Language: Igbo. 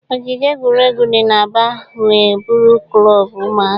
Ogige egwuregwu di n'Aba nwe buru klọb ụmụaka.